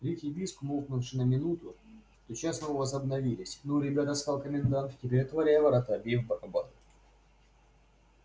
крик и визг умолкнувшие на минуту тотчас снова возобновились ну ребята сказал комендант теперь отворяй ворота бей в барабан